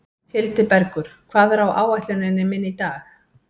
Hildibergur, hvað er á áætluninni minni í dag?